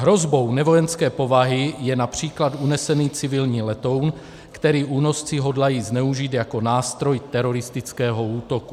Hrozbou nevojenské povahy je například unesený civilní letoun, který únosci hodlají zneužít jako nástroj teroristického útoku.